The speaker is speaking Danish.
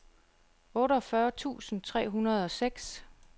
otteogfyrre tusind tre hundrede og seks